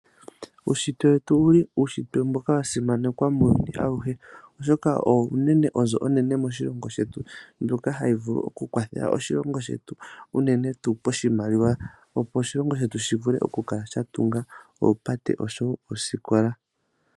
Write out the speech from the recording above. Uushitwe wetu owuli uushitwe mboka wa simanekwa muuyuni awuhe. Oshoka owo unene onzo onene moshilongo shetu. Mboka hawu vulu okukwathela oshilongo shetu unene tuu pashimaliwa. Opo oshilongo shetu shi vule oku kala sha tunga oopate osho wo oosikola.